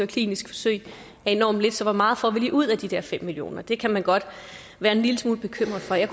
klinisk forsøg er enormt lidt så hvor meget får vi lige ud af de der fem million kr det kan man godt være en lille smule bekymret for jeg